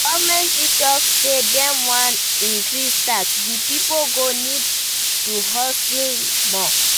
Government fit talk say dem wan increase tax, di pipo go need to husle more